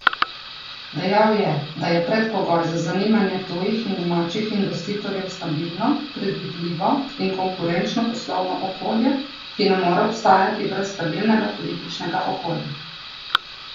Dejal je, da je predpogoj za zanimanje tujih in domačih investitorjev stabilno, predvidljivo in konkurenčno poslovno okolje, ki ne more obstajati brez stabilnega političnega okolja.